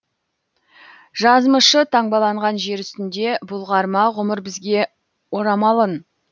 жазмышы таңбаланған жер үстінде бұлғар ма ғұмыр бізге орамалын